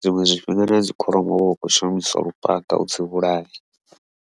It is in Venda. zwiṅwe zwifhinga nadzi kholomo huvha hu khou shumiswa lufhanga u dzi vhulaya.